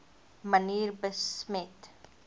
manier besmet